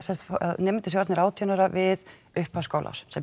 nemendur séu orðnir átjánda ára við upphaf skólaárs sem